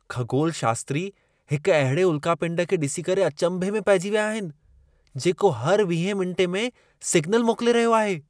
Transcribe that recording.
खगोलशास्त्री हिक अहिड़े उल्कापिंड खे ॾिसी करे अचंभे में पइजी विया आहिनि, जेको हर 20 मिंटें में सिग्नल मोकिले रहियो आहे।